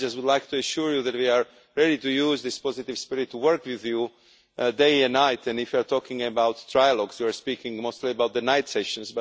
I would like to assure you that we are ready to use this positive spirit to work with you, day and night, and if you are talking about trilogies, you're speaking mostly about the night sessions.